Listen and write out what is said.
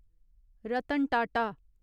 Ratan Tata